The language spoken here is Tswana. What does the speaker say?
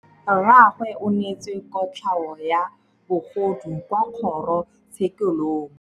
Rragwe o neetswe kotlhaô ya bogodu kwa kgoro tshêkêlông.